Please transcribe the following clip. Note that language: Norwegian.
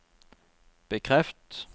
bekreft